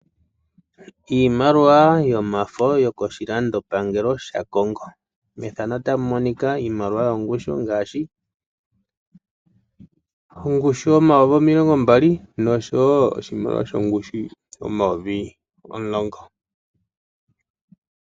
Iimaliwa yomafo yokoshilandopangelo shaCongo. Iimaliwa oya simana noonkondo pethimbo lyopaife oshoka ohayi longithwa mokulanda iipumbiwa oyindji yayoloka.